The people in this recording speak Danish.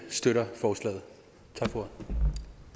støtter forslaget